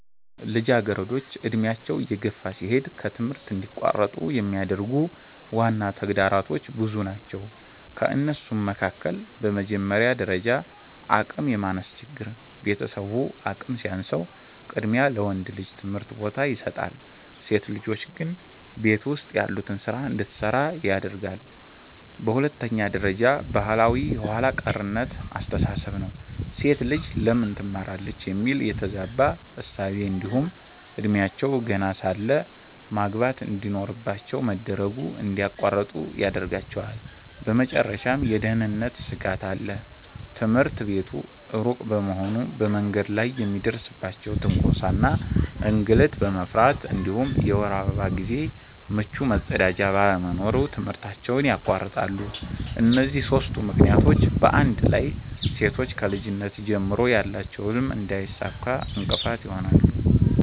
ልጃገረዶች ዕድሜያቸው እየገፋ ሲሄድ ከትምህርት እንዲቋረጡ የሚያደርጉ ዋና ተግዳሮቶች ብዙ ናቸው ከእነሱም መካከል፦ በመጀመሪያ ደረጃ አቅም የማነስ ችግር፤ ቤተሰቡ አቅም ሲያንሰው ቅድሚያ ለወንድ ልጅ ትምህርት ቦታ ይሰጣል፣ ሴት ልጆች ግን ቤት ውስጥ ያሉትን ስራ እንድትሰራ ያደርጋለየ። በሁለተኛ ደረጃ ባህላዊ የኋላ ቀርነት አስተሳሰብ ነው፤ "ሴት ልጅ ለምን ትማራለች?" የሚል የተዛባ እሳቤ እንዲሁም እድሜያቸው ገና ሳለ ማግባት እንድኖርባቸው መደረጉ እንድያቋርጡ ይዳርጋቸዋል። በመጨረሻም የደህንነት ስጋት አለ፤ ትምህርት ቤቱ ሩቅ በመሆኑ በመንገድ ላይ የሚደርስባቸውን ትንኮሳ እና እንግልት በመፍራት እንዲሁም የወር አበባ ጊዜ ምቹ መጸዳጃ ባለመኖሩ ትምህርታቸውን ያቋርጣሉ። እነዚህ ሦስቱ ምክንያቶች በአንድ ላይ ሴቶች ከልጅነት ጀምሮ ያላቸውን ህልም እንዳያሳኩ እንቅፋት ይሆናሉ።